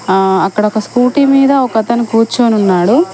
ఆ అక్కడ ఒక స్కూటీ మీద ఒకతను కూర్చుని ఉన్నాడు.